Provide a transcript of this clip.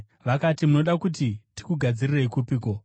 Vakati, “Munoda kuti tikugadzirirei kupiko?”